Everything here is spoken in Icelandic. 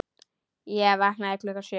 Ég vaknaði klukkan sjö.